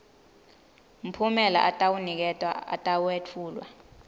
mphumela atawuniketwa atawetfulwa